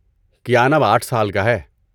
کیان اب آٹھ سال کا ہے